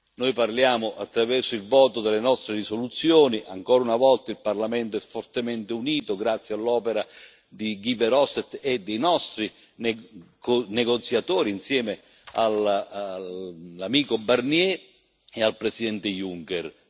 Noi parliamo attraverso il voto delle nostre risoluzioni ancora una volta il Parlamento è fortemente unito, grazie all'opera di Guy Verhofstadt e dei nostri negoziatori, insieme all'amico Barnier e al presidente Juncker.